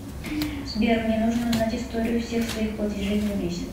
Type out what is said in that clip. сбер мне нужно узнать историю всех своих платежей за месяц